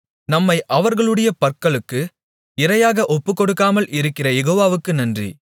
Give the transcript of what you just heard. நம்மை அவர்களுடைய பற்களுக்கு இரையாக ஒப்புக்கொடுக்காமல் இருக்கிற யெகோவாவுக்கு நன்றி